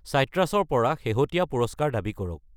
চাইট্ৰাছ ৰ পৰা শেহতীয়া পুৰস্কাৰ দাবী কৰক।